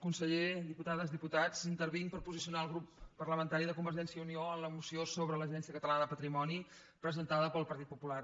conseller diputades diputats intervinc per posicionar el grup parlamentari de convergència i unió en la moció sobre l’agència catalana de patrimoni presentada pel partit popular